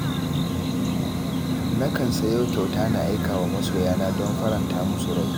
Nakan sayo kyauta na aikawa masoyana don faranta musu rai.